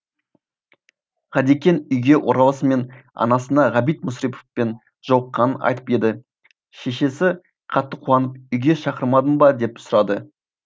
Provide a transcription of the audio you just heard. ғадекең үйге оралысымен анасына ғабит мүсіреповпен жолыққанын айтып еді шешесі қатты қуанып үйге шақырмадың ба деп сұрады